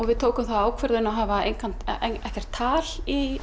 við tókum þá ákvörðun að hafa ekkert tal í